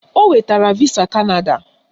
O nwetara visa Kanada